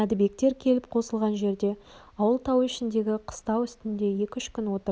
мәдібектер келіп қосылған жерде ауыл тау ішіндегі қыстау үстінде екі-үш күн отырды